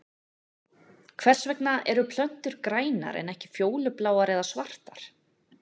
Hvers vegna eru plöntur grænar en ekki fjólubláar eða svartar?